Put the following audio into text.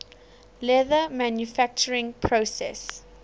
leather manufacturing process